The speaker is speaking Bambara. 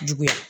Juguya